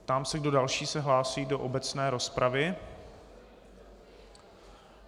Ptám se, kdo další se hlásí do obecné rozpravy.